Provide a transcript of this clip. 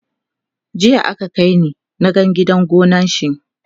jiya aka kaini na gan gidan gonan shi